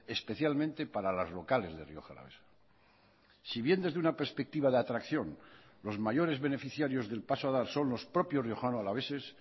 especialmente para las locales de rioja alavesa si bien desde una perspectiva de atracción los mayores beneficiarios del paso a dar son los propios riojano alaveses